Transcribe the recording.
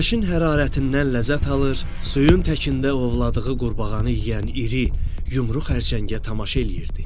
Günəşin hərarətindən ləzzət alır, suyun təkində ovladığı qurbağanı yeyən iri, yumru xərçəngə tamaşa eləyirdi.